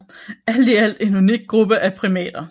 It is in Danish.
Alt i alt en unik gruppe af primater